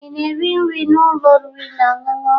Ị na-eri nri n'ụlọ oriri na ọṅụṅụ?